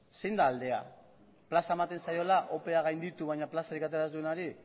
zein da aldea plaza ematen zaiola opea gainditu baina plazarik atera ez duenari